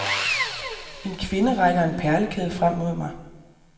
En kvinde rækker en perlekæde frem mod mig.